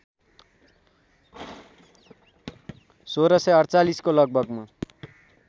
१६४८ को लगभगमा